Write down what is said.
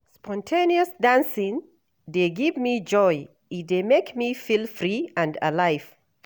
Spontaneous dancing dey give me joy, e dey make me feel free and alive.